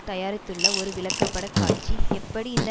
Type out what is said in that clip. தயாரித்துள்ள ஒரு விளக்கப்பட காட்சி எப்படி இந்த